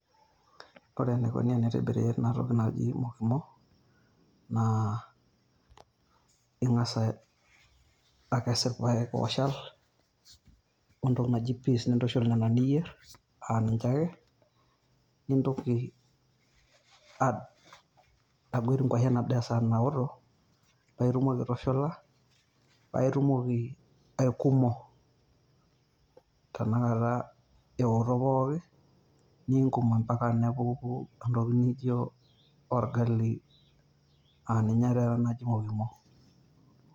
Ore eneikuni teboori ena toki naji mokimo naa inga'as aiesu irpaek ooshal entoki naji peas nintushul Nena tokitin pokira niyierr aa ninche ake, nintoki ag aguet enguashen esaa naaku paitumoki aitushula aikumo tenakata eoto pooki niingum ambaka nepuku entoki naijio orgali aa ninye taata ena naji mokimo.